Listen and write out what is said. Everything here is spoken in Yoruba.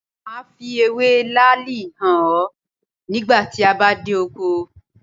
Máa fi ewé làálì hàn ọ nígbà tí a bá dé oko.